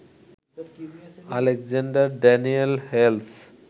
Alexander Daniel Hales